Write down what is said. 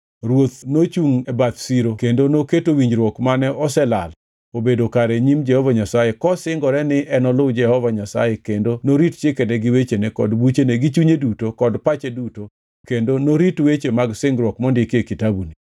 Ruoth nochungʼ e bath siro kendo noketo winjruok mane oselal obedo kare e nyim Jehova Nyasaye kosingore ni enoluw Jehova Nyasaye kendo norit chikene gi wechene kod buchene gi chunye duto kod pache duto kendo norit weche mag singruok mondiki e kitabuni.